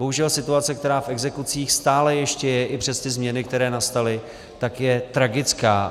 Bohužel situace, která v exekucích stále ještě je i přes ty změny, které nastaly, tak je tragická.